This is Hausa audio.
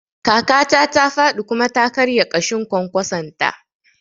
Kakata ta faɗi kuma ta karya ƙashin kwankwason ta